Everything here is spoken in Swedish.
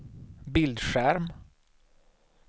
bildskärm